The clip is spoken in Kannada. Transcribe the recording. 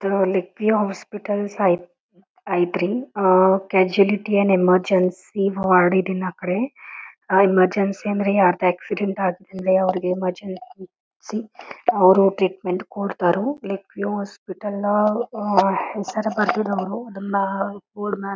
ಕೀಯ ಹಾಸ್ಪಿಟಲ್ಸ್ ಐತ್ರಿ. ಆಹ್ಹ್ ಕ್ಯಾಶುಯಾಲಿಟಿ ಅಂಡ್ ಎಮ್ಮೆರ್ಜನ್ಸಿ ವಾರ್ಡ್ ಇರ್ಲಿಲ್ಲ ಆಕಡೆ ಎಮರ್ಜೆನ್ಸಿ ಅಂದ್ರೆ ಯಾರದ್ ಆಕ್ಸಿಡೆಂಟ್ ಆದ್ಮೇಲೆ ಅವ್ರುಎಮರ್ಜೆನ್ಸಿ ಅವ್ರು ಟ್ರೀಟ್ಮೆಂಟ್ ಕೊಡ್ತಾರೋ ಲೈಕ್ ಈ ಹಾಸ್ಪಿಟಲ್ ನ ಹೆಸ್ರ್ ಬರ್ದಿಲ್ಲ ಅವ್ರು ಅದನ್ನ--